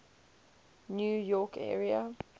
new york area